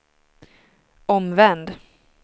omvänd